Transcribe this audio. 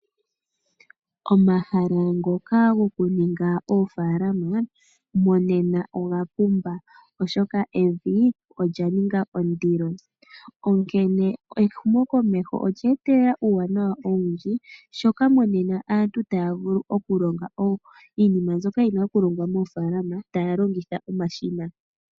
Omahala ngoka gokuninga oofaalama monena ogapumba oshoka evi olyaninga ondilo. Onkene ehumokomeho olye etelela uuwanawa owundji shoka monena aantu taya vulu okulonga iinima mbyoka yina okulongwa moofaalama taya longitha omashina.